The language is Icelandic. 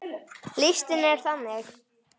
Listinn er þannig